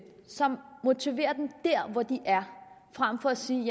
som motiverer dem dér hvor de er frem for at sige